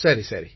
சரி சரி